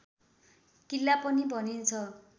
किल्ला पनि भनिन्छ